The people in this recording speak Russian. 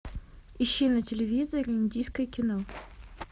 ищи на телевизоре индийское кино